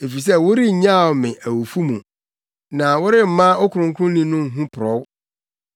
Efisɛ worennyaw me awufo mu. Na woremma wo Kronkronni no mporɔw.